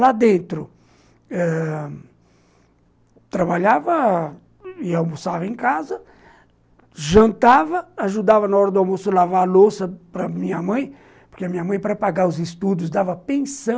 Lá dentro ãh... trabalhava... e almoçava em casa, jantava, ajudava na hora do almoço a lavar a louça para a minha mãe, porque a minha mãe, para pagar os estudos, dava pensão.